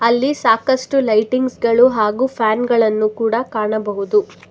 ಇಲ್ಲಿ ಸಾಕಷ್ಟು ಲೈಟಿಂಗ್ಸ್ ಗಳು ಹಾಗು ಫ್ಯಾನ್ ಗಳನ್ನು ಕೂಡ ಕಾಣಬಹುದು.